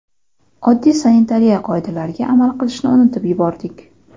oddiy sanitariya qoidalariga amal qilishni unutib yubordik.